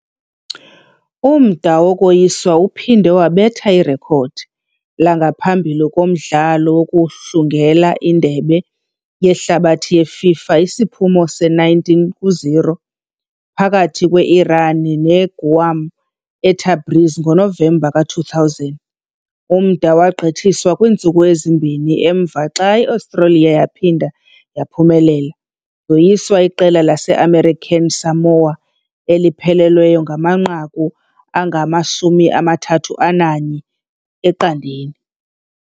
Umda wokoyiswa uphinde wabetha irekhodi langaphambili kumdlalo wokuhlungela iNdebe yeHlabathi yeFIFA, isiphumo se-19-0 phakathi kwe-Iran neGuam eTabriz ngoNovemba ka-2000. Umda wagqithiswa kwiintsuku ezimbini kamva xa i-Australia yaphinda yaphumelela, yoyisa iqela lase-American Samoa eliphelelweyo ngamanqaku angama-31-0.